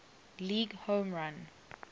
league home run